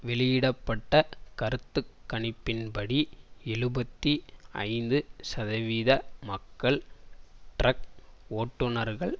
வெளியிட பட்ட கருத்து கணிப்பின்படி எழுபத்தி ஐந்துசதவீத மக்கள் டிரக் ஓட்டுநர்கள்